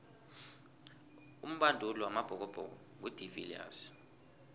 umbanduli wamabhokobhoko ngu de viliers